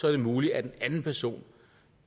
er det muligt at en anden person